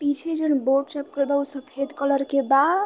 पीछे जोन बोर्ड चपकल बा ऊ सफ़ेद कलर के बा।